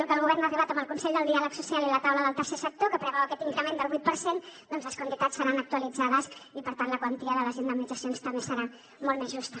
que el govern ha arribat amb el consell del diàleg social i la taula del tercer sector que preveu aquest increment del vuit per cent les quantitats seran actualitzades i per tant la quantia de les indemnitzacions també serà molt més justa